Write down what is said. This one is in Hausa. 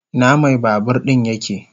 Ina mai babur din yake?